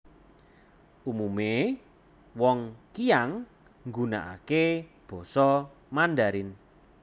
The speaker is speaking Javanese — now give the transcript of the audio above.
Umume wong Qiang nggunakake Basa Mandarin